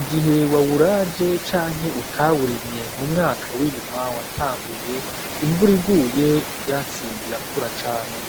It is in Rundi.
igihe wawuraje canke utawurimye mu mwaka w'irima watanguye imvuraiguye ivyatsi birakura cane.